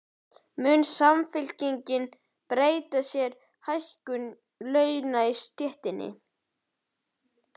Mun Samfylkingin beita sér fyrir hækkun launa í stéttinni?